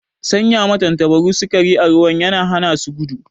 Sanya ma tantabaru sikari a ruwa yana hana su gudu